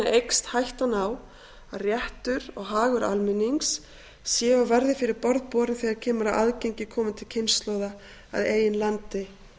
eykst hættan á að réttur og hagur almennings sé og verði fyrir borð borinn þegar kemur að aðgengi komandi kynslóða að eigin landi